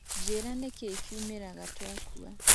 njĩra nĩkĩ kiũmĩraga twakũa